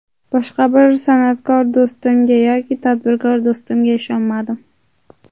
Boshqa bir san’atkor do‘stimga yoki tadbirkor do‘stimga ishonmadim.